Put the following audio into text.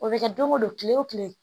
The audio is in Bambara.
O bɛ kɛ don go don kile wo kile